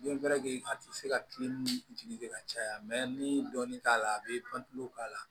a tɛ se ka kile ni jigi ka caya ni dɔɔnin t'a la a bi k'a la